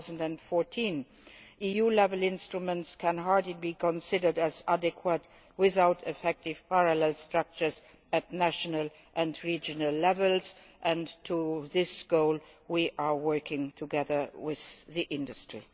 2014. EU level instruments can hardly be considered adequate without effective parallel structures at national and regional levels and, to this end, we are working together with industry.